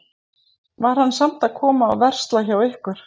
En hann var samt að koma og versla hjá ykkur?